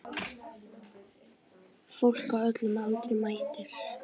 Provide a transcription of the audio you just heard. Fólk á öllum aldri mætir.